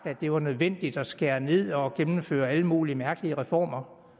at det var nødvendigt at skære ned og gennemføre alle mulige mærkelige reformer